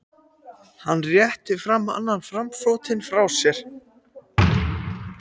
Hann réttir aðeins annan framfótinn frá sér.